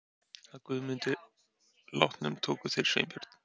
Að Guðmundi látnum tóku þeir Sveinbjörn